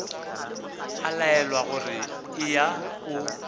a laelwa gore eya o